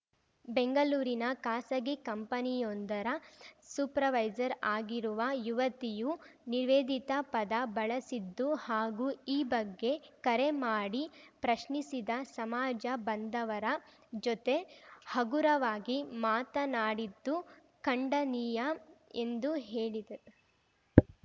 ಬೆಂಗಳೂರಿನ ಖಾಸಗಿ ಕಂಪನಿಯೊಂದರ ಸೂಪರ್‌ವೈಸರ್‌ ಆಗಿರುವ ಯುವತಿಯು ನಿವೇಧಿತ ಪದ ಬಳಸಿದ್ದು ಹಾಗೂ ಈ ಬಗ್ಗೆ ಕರೆ ಮಾಡಿ ಪ್ರಶ್ನಿಸಿದ ಸಮಾಜ ಬಂಧವರ ಜೊತೆ ಹಗುರವಾಗಿ ಮಾತನಾಡಿದ್ದು ಖಂಡನೀಯ ಎಂದು ಹೇಳಿದರು